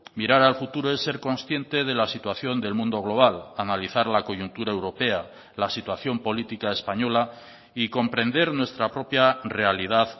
mirar al futuro es ser consciente de la situación del mundo global analizar la coyuntura europea la situación política española y comprender nuestra propia realidad